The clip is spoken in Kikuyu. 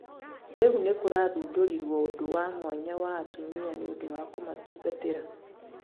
Rĩũ nĩkũrathũndorĩrwo ũndũ wa mwanya wa atũmĩa nĩundũ wa kũmatũngatĩra